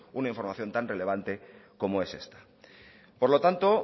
una información tan relevante como es esta por lo tanto